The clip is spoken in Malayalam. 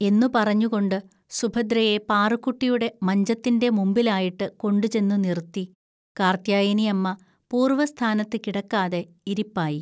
എന്നു പറഞ്ഞുകൊണ്ട് സുഭദ്രയെ പാറുക്കുട്ടിയുടെ മഞ്ചത്തിൻ്റെ മുമ്പിലായിട്ട് കൊണ്ടുചെന്നു നിറുത്തി, കാർത്യായനിഅമ്മ പൂർവ്വസ്ഥാനത്തു കിടക്കാതെ ഇരിപ്പായി.